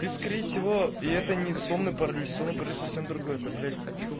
ты скорее всего и это не сонный паралич сонный паралич совсем другое это блять